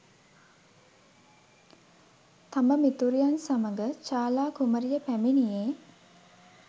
තම මිතුරියන් සමඟ චාලා කුමරිය පැමිණියේ